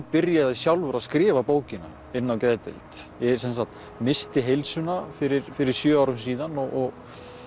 byrjaði sjálfur að skrifa bókina inni á geðdeild ég sem sagt missti heilsuna fyrir fyrir sjö árum síðan og